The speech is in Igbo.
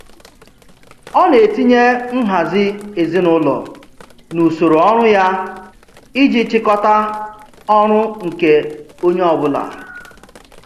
Ọ na-etinye nhazi ezinaụlọ n'usoro ọrụ ya iji chịkọta ọrụ nke onye ọbụla.